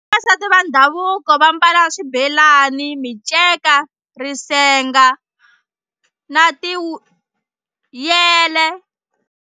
Vavasati va ndhavuko va mbala swibelani, miceka, risenga na ti wu yele.